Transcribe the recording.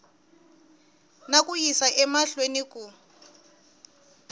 na ku yisa emahlweni ku